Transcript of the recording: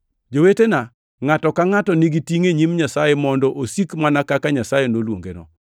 Jowetena, ngʼato ka ngʼato nigi tingʼ e nyim Nyasaye mondo osik mana kaka Nyasaye noluongeno.